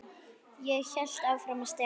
Ég hélt áfram að stela.